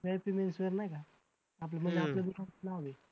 VIPmens wear नाही का आपलं म्हणजे आपलं दुकानाचा नाव आहे.